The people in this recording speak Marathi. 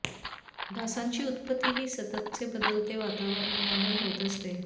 डासांची उत्पत्ती ही सततचे बदलते वातावरण यामुळे होत असते